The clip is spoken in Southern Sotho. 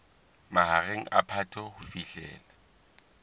mahareng a phato ho fihlela